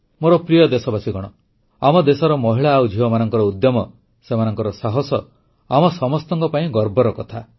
ମୋର ପ୍ରିୟ ଦେଶବାସୀଗଣ ଆମ ଦେଶର ମହିଳା ଆଉ ଝିଅମାନଙ୍କର ଉଦ୍ୟମ ସେମାନଙ୍କର ସାହସ ଆମ ସମସ୍ତଙ୍କ ପାଇଁ ଗର୍ବର କଥା